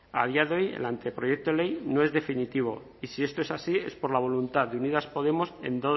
a día de hoy el anteproyecto de ley no es definitivo y si esto es así es por la voluntad de unidas podemos